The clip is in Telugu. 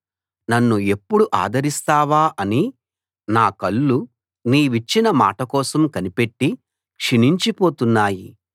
నన్ను ఎప్పుడు ఆదరిస్తావా అని నా కళ్ళు నీవిచ్చిన మాట కోసం కనిపెట్టి క్షీణించిపోతున్నాయి